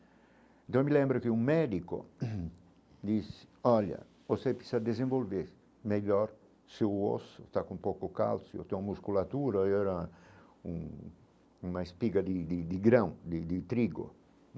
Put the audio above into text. Então eu me lembro que um médico disse, olha, você precisa desenvolver melhor seu osso, está com pouco cálcio, tem musculatura, eu era um uma espiga de de de grão, de de trigo.